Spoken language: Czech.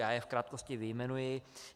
Já je v krátkosti vyjmenuji.